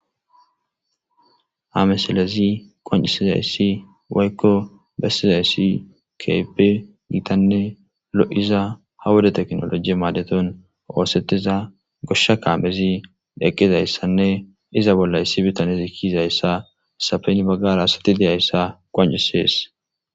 Ha mesalezi qoncisizayssi woykko bessizayssi keepe gitanne lo'iza ha wuda teknolojie maadeton oosettiza goshsha kaamezi deqqizayssanne iza bollayssi bitanezi kiizayssa sapeni baggara asati deyayssa qoncisees.